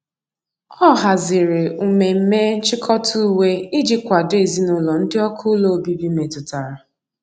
ọ hazịrị umeme nchikota uwe iji kwado ezinulo ndi ọkụ ụlọ ọbibi metụtara.